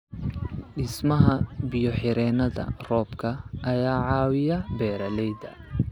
Dhismaha biyo-xireennada roobka ayaa caawiya beeralayda.